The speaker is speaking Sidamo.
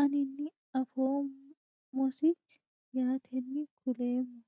anini afoomosi yaateni kuleemo.